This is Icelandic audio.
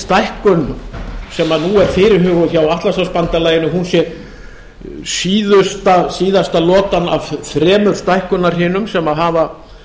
stækkun sem nú er fyrirhuguð hjá atlantshafsbandalaginu sé síðasta lotan af þremur stækkunarhrinum sem hafa